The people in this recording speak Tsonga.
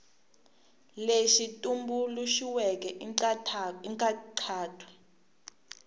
lexi tumbuluxiweke i xa nkhaqato